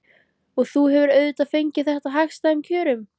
Og þú hefur auðvitað fengið þetta á hagstæðum kjörum?